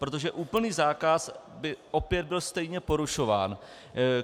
Protože úplný zákaz by opět byl stejně porušován.